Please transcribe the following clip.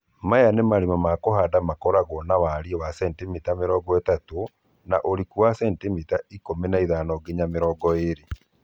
Maya nĩ marima ma kũhanda makoragwo na wariĩ wa sentimita 30 na ũriku wa sentimita 15-20